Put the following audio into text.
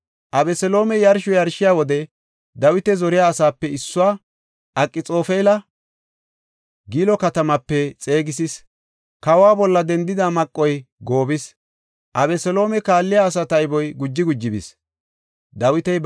Abeseloomey yarsho yarshiya wode Dawita zoriya asaape issuwa Akxoofela Gilo katamaape xeegisis. Kawa bolla dendida maqoy goobis; Abeseloome kaalliya asaa tayboy guji guji bis.